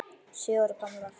Sjö ára gamlar.